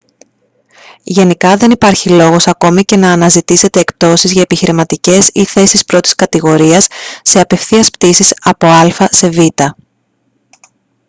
γενικά δεν υπάρχει λόγος ακόμα και να αναζητήσετε εκπτώσεις για επιχειρηματικές ή θέσεις πρώτης κατηγορίας σε απευθείας πτήσεις από α σε β